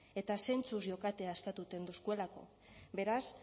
eta zentzuz jokatea eskatuten doskuelako beraz